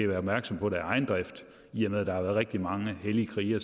været opmærksom på det af egen drift i og med at der rigtig mange hellige krigere